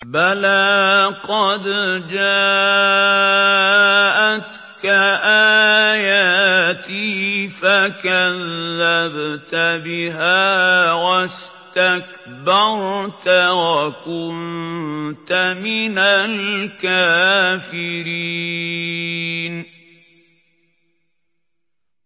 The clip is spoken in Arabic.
بَلَىٰ قَدْ جَاءَتْكَ آيَاتِي فَكَذَّبْتَ بِهَا وَاسْتَكْبَرْتَ وَكُنتَ مِنَ الْكَافِرِينَ